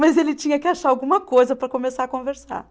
Mas ele tinha que achar alguma coisa para começar a conversar.